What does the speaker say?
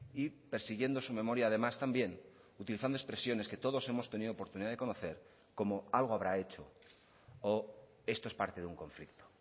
y persiguiendo su memoria además también utilizando expresiones que todos hemos tenido oportunidad de conocer como algo habrá hecho o esto es parte de un conflicto